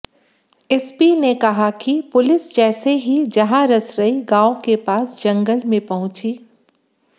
SP ने कहा कि पुलिस जैसे ही जहारसरई गांव के पास जंगल में पहुंची